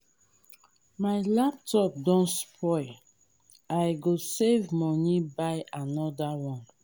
my laptop don spoil i go save moni buy anoda one.